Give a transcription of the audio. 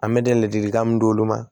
An bɛ da ladilikan min d'olu ma